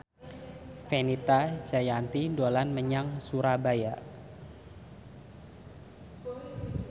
Fenita Jayanti dolan menyang Surabaya